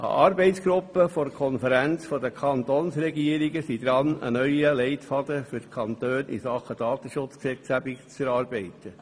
Eine Arbeitsgruppe der Konferenz der Kantonsregierungen ist dabei, einen neuen Leitfaden für die Kantone in Sachen Datenschutzgesetzgebung zu erarbeiten.